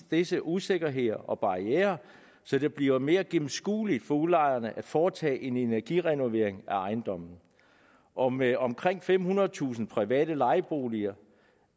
disse usikkerheder og barrierer så det bliver mere gennemskueligt for udlejerne at foretage en energirenovering af ejendommene og med omkring femhundredetusind private lejeboliger